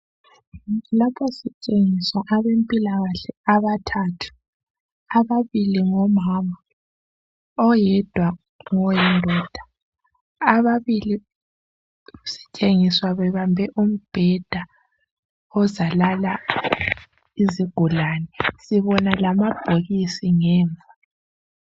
Lapha sitshengiswa abempilakahle abathathtu. Ababili ngomama, oyedwa ngoyindoda. Ababili sitshengiswa bebambe umbheda ozalala izigulane, sibona lamabhokisi Ngemva.